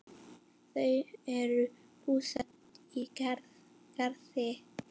Þau eru búsett í Garði.